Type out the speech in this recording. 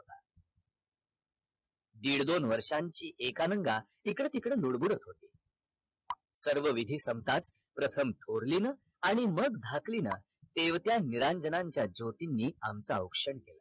दीड दोन वर्षांची एकानांगा इकडे तिकडे लुडबुडत होती सर्व विधी संपताच प्रथम थोर्लीन आणि मग धक्लीन तेवत्या निरांजनांच्या ज्योतींनी आमच औक्षण केला